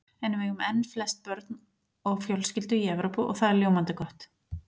En við eigum enn flest börn á fjölskyldu í Evrópu og það er ljómandi gott.